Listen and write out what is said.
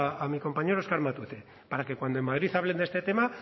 a mi compañero oskar matute para que cuando en madrid hablen de este tema